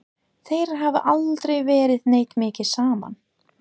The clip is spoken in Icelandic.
Þeir hafa aldrei verið neitt mikið saman.